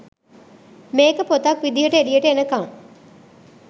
මේක පොතක් විදිහට එලියට එනකම්